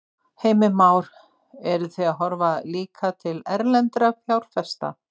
Heimir Már: Eruð þið að horfa líka til erlendra fjárfesta?